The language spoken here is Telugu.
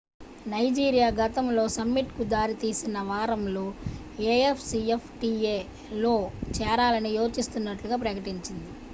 నైజీరియా గతంలో సమ్మిట్​కు దారితీసిన వారంలో afcftaలో చేరాలని యోచిస్తున్నట్లు ప్రకటించింది